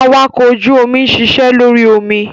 Awakọ̀ ojú omi ń ṣiṣẹ́ lórí omi.